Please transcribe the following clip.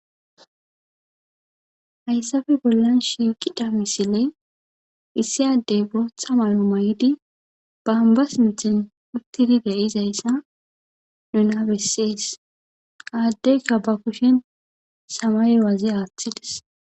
hayssafe bollan shiiqida misile issi addey bootha malo may7idi baanba sinxin uttidide izayssa nun habessees aaddeyka ba kushen samay waazi aaththides